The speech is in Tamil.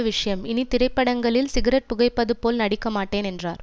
விஷயம் இனி திரைப்படங்களி ன் சிகரெட் புகைப்பது போல் நடிக்க மாட்டேன் என்றார்